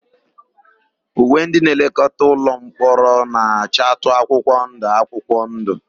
Uwe ndịnlekọta ụlọmkpọrọ na-achatụ akwụkwọndụ akwụkwọndụ.